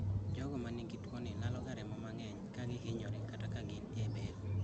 Jogo manigi tuo ni lalo ga remo mang'eny ka gihinyore kata ka gin e bero